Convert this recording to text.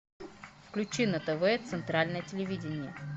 включи на тв центральное телевидение